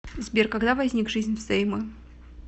сбер когда возник жизнь взаймы